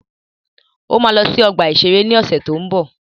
Ó ma lọ sí ọgbà-ìṣeré ni ọ̀sẹ̀ tó ń bọ̀